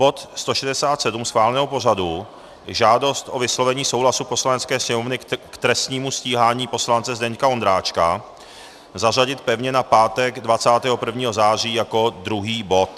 bod 167 schváleného pořadu, Žádost o vyslovení souhlasu Poslanecké sněmovny k trestnímu stíhání poslance Zdeňka Ondráčka, zařadit pevně na pátek 21. září jako druhý bod;